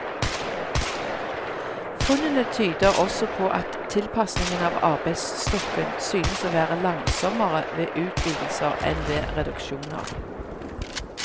Funnene tyder også på at tilpasningen av arbeidsstokken synes å være langsommere ved utvidelser enn ved reduksjoner.